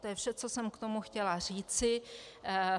To je vše, co jsem k tomu chtěla říci.